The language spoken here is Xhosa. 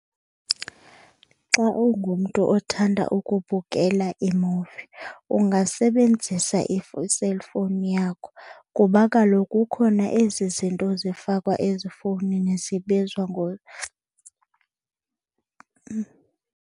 Xa ungumntu othanda ukubukela iimuvi ungasebenzisa i-cellphone yakho kuba kaloku kukhona ezi zinto zifakwa ezifowunini zibizwa .